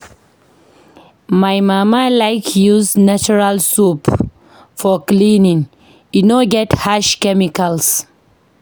My mama like use natural soap for cleaning, e no get harsh chemicals.